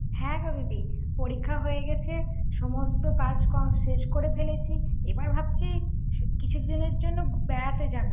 হ্যাঁ রবি দি পরীক্ষা হয়ে গেছে সমস্ত কাজ কম শেষ করে ফেলেছি এবার ভাবছি কিছুদিনের জন্য বেড়াতে যাব ৷